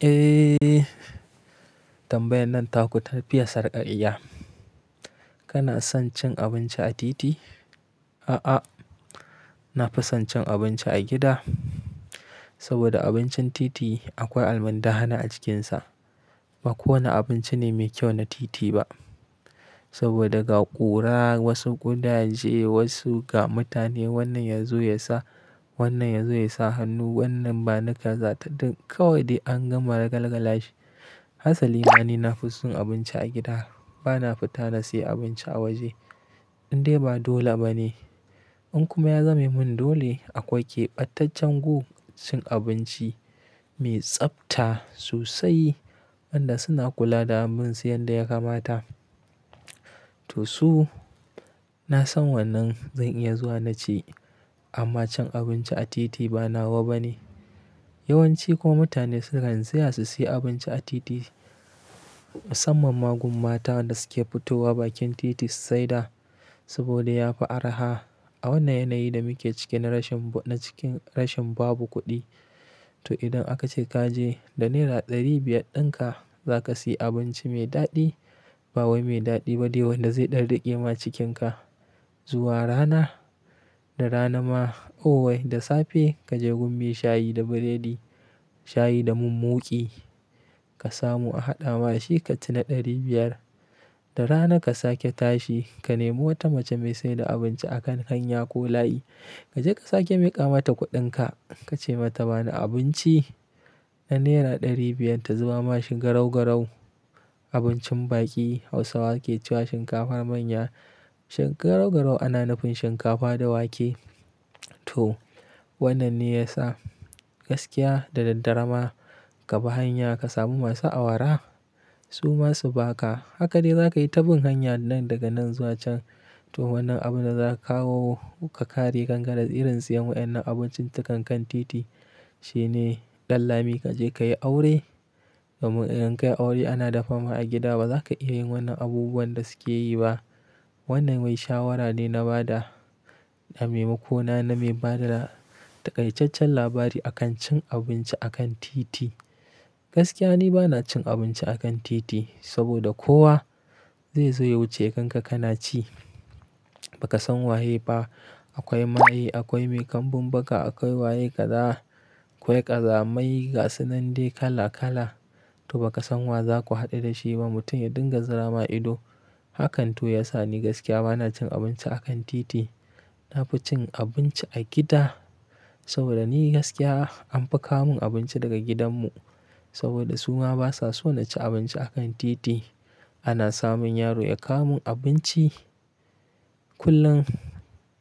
Eh, tambayan nan taku ta fiya sarka'iya. Kana son cin abinci a titi? A'a, na fi son cin abinci a gida. Saboda abincin titi akwai almar da hana a cikinsa. Ba kowane abinci ne mai kyau na titi ba. Saboda ga ƙura, wasu ƙudaje, wasu ga mutane wannan ya zo ya sa, wannan ya zo ya sa hannu, wannan ba nika za ta ding. Kawai dai an gama ragalagala shi. Hasanina ni na fi son abinci a gida. Ba na fita na sayi abinci a waje. Indai ba dole ba ne. In kuma ya zame mun dole, akwai keɓataccen gun cin abinci mai tsabta sosai wanda suna kula da abinsu yanda ya kamata. To so, na san wannan zan iya zuwa na ci amma cin abinci a titi ba nawa ba ne. Yawan ci ko mutane sukan ziyarci su sayi abinci a titi, musamman ma gun mata da suke fitowa bakin titi su saida saboda ya fi araha. A wannan yanayi da muke ciki na rashin, na cikin rashin babu kuɗi. To idan aka ce ka je da naira ɗari biyar ɗinka za ka sayi abinci mai daɗi, ba wai mai daɗi ba dai wanda zai ɗarɗaƙe ma cikinka. Zuwa rana, da rana ma, owai da safe kaje gun me shayi da burodi, shayi da mun muƙi. Ka samu a haɗa ma shi kaci na ɗari biyar. Da rana ka sake tashi, ka nemo wata mace me saida abinci a kan hanya ko layi. Kaje ka sake miƙa mata kuɗinka, ka ce mata bani abinci na naira ɗari biyar ta zuba ma shi garau garau, abincin baƙi Hausawa ke cewa shinkafar manya. Shinkafar garau garau ana nafin shinkafa da wake. To, wannan ne ya sa gaskiya da daddare ma ka bi hanya ka samu masu awara, su ma su ba ka. Haka dai za ka yi ta bin hanya nan daga nan zuwa can. To wannan abin da za ka kawo ka ƙare gangara irin siyan waɗannan abincin takan kan titi, shine ɗanlami kaje ka yi aure. Domin idan ka yi aure ana dafa ma a gida ba za ka iya yin wannan abubuwan da suke yi ba. Wannan wai shawara ne na ba da, na maimako na, na mai ba da tarƙaicaccen labari a kan cin abinci a kan titi. Gaskiya ni ba na cin abinci a kan titi saboda kowa zai zo ya wuce kanka kana ci. Baka san waye ba. Akwai maye, akwai mai kambun baka, akwai waye ƙaza, akwai ƙazamayi gasunnan dai kala kala. To ba ka san wa za ku haɗu da shi ba. Mutum ya ɗinganzara ma ido. Hakan to ya sa ni gaskiya ba na cin abinci a kan titi. Na fi cin abinci a gida saboda ni gaskiya an fi ka mun abinci daga gidanmu saboda su ma ba sa so na ci abinci a kan titi. Ana samun yaro ya kawo mun abinci kullum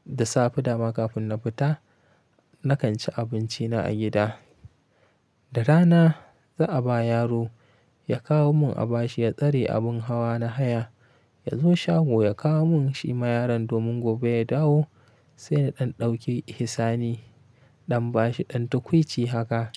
da safe da ma kafin na fita. Nakan ci abinci na a gida. Da rana za a ba yaro ya kawo mun a bashi ya tsare abun hawa na haya. Yazo shago ya kawo mun shi ma yaron domin gobe ya dawo sai na ɗan ɗauki hisani. Ɗan bashi, ɗan tukwuici haka.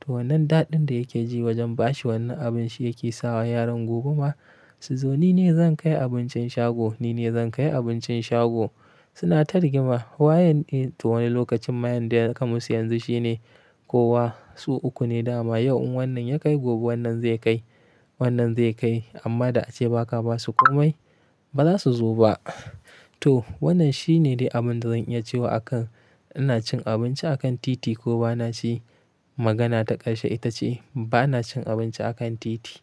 To wannan daɗin da yake ji wajen bashi wannan abun shi yake sawa yaron gobe ma su zo. Ni ne zan kai abincin shago, ni ne zan kai abincin shago. Suna targima wayen ne? To wani lokacin mayan da ya kamasu yanzu shine kowa su uku ne dama. Yau wannan ya kai gobe wannan zai kai, wannan zai kai amma da ace ba ka ba su komai ba za su zo ba. To wannan shi ne dai abin da zan iya cewa akan ina cin abinci a kan titi ko ba na ci. Magana ta ƙarshe ita ce ba na cin abinci a kan titi.